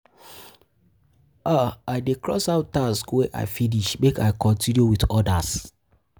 I dey cross out tasks tasks wey I finish, make I continue wit odas.